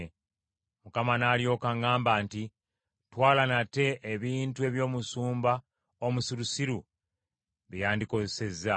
Mukama n’alyoka aŋŋamba nti, “Twala nate ebintu eby’omusumba omusirusiru bye yandikozesezza.